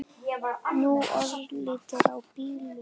Nú örlar á bílum.